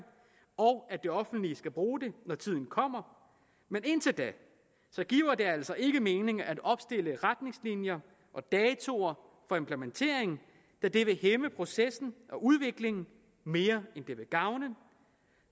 og at det offentlige skal bruge det når tiden kommer men indtil da giver det altså ikke mening at opstille retningslinjer og datoer for implementering da det vil hæmme processen og udviklingen mere end det vil gavne